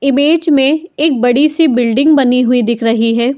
Image में एक बड़ी सी बिल्डिंग बनी हुई दिख रही है।